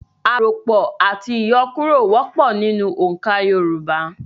Àròpọ̀ àti ìyọkúrọ̀ wọ́pọ̀ nínú oǹkà Yorùbá.